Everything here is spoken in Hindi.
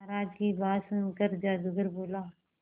महाराज की बात सुनकर जादूगर बोला